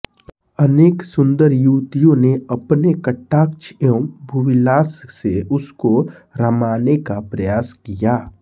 अनेक सुन्दर युवतियों ने अपने कटाक्ष एवं भूविलास से उसको रमाने का प्रयास किया